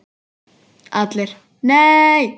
ALLIR: Nei!